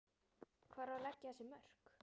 Hvar á að leggja þessi mörk?